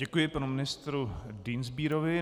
Děkuji panu ministru Dienstbierovi.